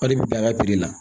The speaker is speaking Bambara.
O de bɛ bila ka la